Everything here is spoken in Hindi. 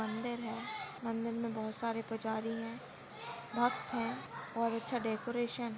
मंदिर है मंदिर मे बहुत सारे पुजारी है भक्त है बहुत अच्छा डेकोरेशन --